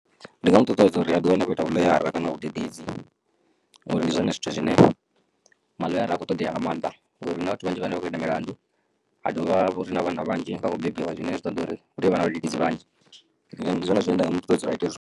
Ndi nga mu ṱuṱuwedza uri a ḓi wane a khou ita vhu ḽoyara kana vhudededzi ngori ndi zwone zwithu zwine maḽoyara a kho ṱoḓea nga maanḓa ngori na vhathu vhanzhi vhane vha khou ita milandu ha dovha uri na vhana vhanzhi nga kho bebiwa zwine zwi ṱoḓa uri hu tovha na vhadededzi vhanzhi ndi zwone zwine nda nga mu ṱuṱuwedza uri a ite zwone.